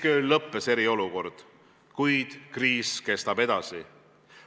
Keskööl lõppes eriolukord, kuid kriis kestab edasi.